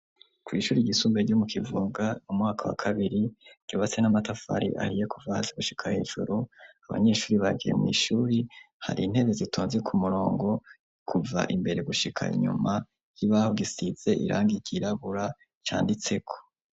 Kw'ishuri gisumbe ryo mu kivunga mu mwaka wa kabiri ryobase n'amatafari ariye kuvahasi gushika hejuru abanyeshuri bagiye mw'ishuri hari intebe zitonze ku murongo kuva imbere gushika inyuma y'ibaho gisize iranga igirabura canditseko.